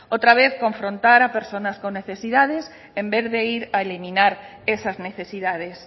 otra vez confrontar a personas con necesidades en vez de ir a eliminar esas necesidades